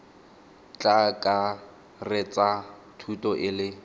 tla akaretsa thuto e le